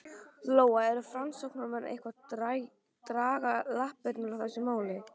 Lóa: Eru framsóknarmenn eitthvað að draga lappirnar í þessu máli?